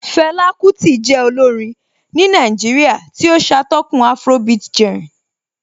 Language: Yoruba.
Fela Kuti jẹ́ olórin ní Nàìjíríà tí ó ṣatọ́kùn afrobeat genre